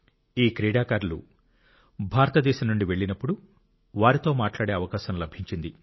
ఈ క్రీడాకారులు భారతదేశం నుండి వెళ్ళినప్పుడు వారితో మాట్లాడే అవకాశం లభించింది